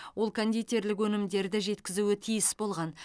ол кондитерлік өнімдерді жеткізуі тиіс болған